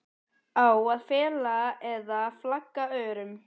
Á að fela eða flagga örum?